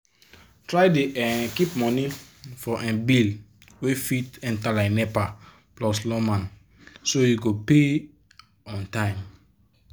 try dey um keep money for um bill wey fit enter like nepa plus lawma so you go pay on time